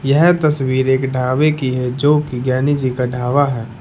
यह तस्वीर एक ढाबे की है जो की ज्ञानी जी का ढाबा है।